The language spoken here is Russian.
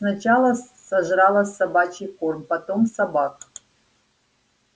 сначала сожрала собачий корм потом собак